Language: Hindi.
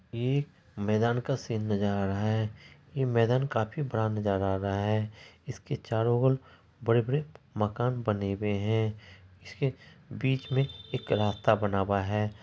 ये मैदान का सीन नजर आ रहा है| ये मैदान काफी बड़ा नजर आ रहा है| इसके चारो और बड़े-बड़े मकान बने हुए हैं इसके बीच में एक रास्ता बना हुआ है।